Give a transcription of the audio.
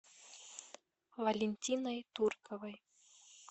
валентиной турковой